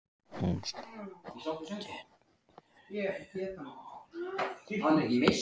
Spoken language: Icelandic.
Hún steig upp á gangstéttina hinum megin á hárréttu augnabliki.